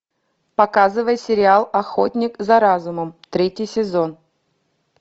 показывай сериал охотник за разумом третий сезон